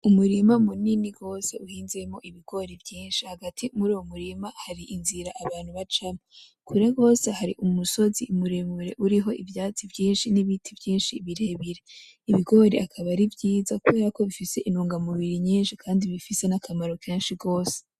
Umurima munini gose wezemwo ibigori vyinshi. Hagati muruwo murima harinzira abantu bacamwo. Kure gose hari umusozi muremure uriho ivuatsi vyinshi n'ibiti vyinshi birebire. Ibigori bikaba ari vyiza kubera ko bifise intungamubiri nyinshi kandi bifise n'akamaro kenshi gose.